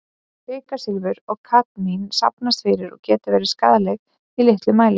Kvikasilfur og kadmín safnast fyrir og geta verið skaðleg í litlum mæli.